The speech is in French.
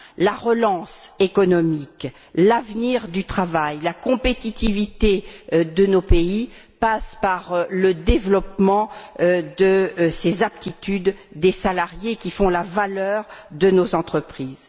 La relance économique, l'avenir du travail, la compétitivité de nos pays passent par le développement de ces aptitudes des salariés, qui font la valeur de nos entreprises.